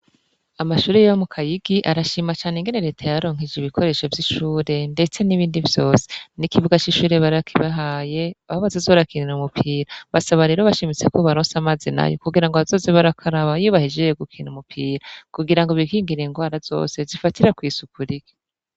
Amashure yo mu Kayigi arashima cane ingene Leta yabaronkeje ibikoresho vy'ishure ndetse n'ibindi vyose. N'ikibuga c'ishure barakibahaye aho bazoza barakinira umupira. Basaba rero bashimitse ko bobaronsa amazi nayo kugira ngo bazoze barakaraba iyo bahejeje gukina umupira. Kugira ngo bikingire ingwara zose zifatira kw'isuku rike.